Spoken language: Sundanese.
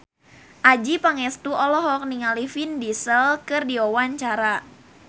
Adjie Pangestu olohok ningali Vin Diesel keur diwawancara